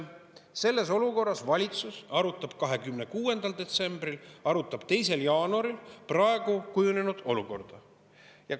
Selles olukorras valitsus arutas 26. detsembril ja arutas 2. jaanuaril praeguseks kujunenud olukorda.